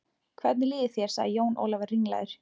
Hvernig líður þér sagði Jón Ólafur ringlaður.